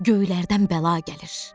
Göylərdən bəla gəlir.